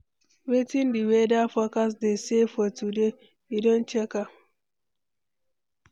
Wetin di weather forecast dey say for today, you don check am?